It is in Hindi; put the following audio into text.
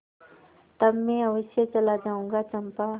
तब मैं अवश्य चला जाऊँगा चंपा